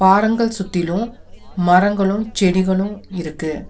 பாறங்கள் சுத்திலு மரங்களு செடிகளு இருக்கு.